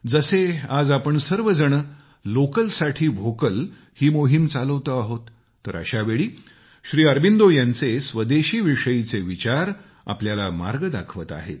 जसे आज आपण सर्व जण लोकल साठी व्होकल ही मोहीम चालवतो आहोत तर अशा वेळी श्री अरबिंदो यांचे स्वदेशीविषयीचे विचार आपल्याला मार्ग दाखवत आहेत